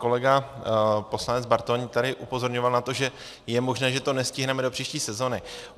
Kolega poslanec Bartoň tady upozorňoval na to, že je možné, že to nestihneme do příští sezóny.